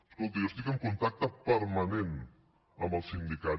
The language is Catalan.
escolti jo estic en contacte permanent amb els sindicats